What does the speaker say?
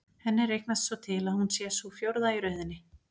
Henni reiknast svo til að hún sé sú fjórða í röðinni.